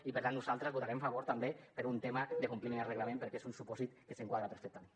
i per tant nosaltres hi votarem a favor també per un tema de compliment de reglament perquè és un supòsit que s’hi enquadra perfectament